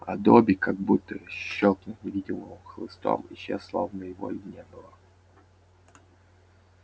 а добби как будто щёлкнув невидимым хлыстом исчез словно его и не было